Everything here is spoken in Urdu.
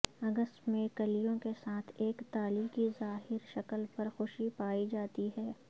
اگست میں کلیوں کے ساتھ ایک تالی کی ظاہری شکل پر خوشی پائی جاتی ہے